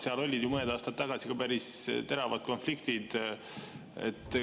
Seal olid ju mõned aastad tagasi päris teravad konfliktid.